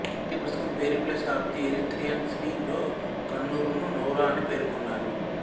Greek పుస్తకం Periplus of the Erythraean Sea లో కన్నురును నౌరా అని పేర్కొన్నారు